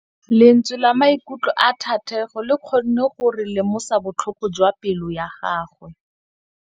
Lentswe la maikutlo a Thategô le kgonne gore re lemosa botlhoko jwa pelô ya gagwe.